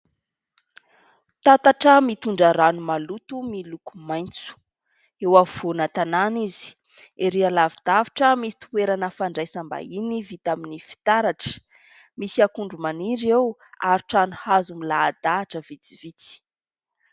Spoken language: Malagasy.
Tatatra mitondra rano maloto miloko maitso, eo afovoana tanàna izy, erỳ alavidavitra misy toerana fandraisam-bahiny vita amin'ny fitaratra, misy akondro maniry eo ary trano hazo milahadahatra vitsivitsy.